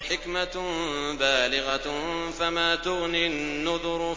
حِكْمَةٌ بَالِغَةٌ ۖ فَمَا تُغْنِ النُّذُرُ